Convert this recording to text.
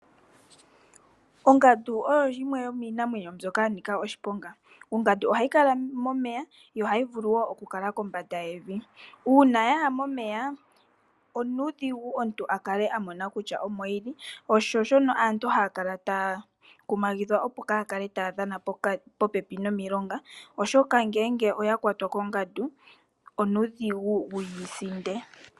Ongandu oyo yimwe yomiinamwenyo mbyoka ya nika oshiponga, ongandu ohayi kala momeya yo ohayi vulu kala kombanda yevi. Uuna taya ya momeya omuntu onuudhigu wu mone kutya omo yili, sho osho shono aantu haya kala taya kumagidhwa opo kaaya kale taya dhana po pepi nomilonga, oshoka ngele oya kwatwa kongandu onuudhigu wuyi sinde.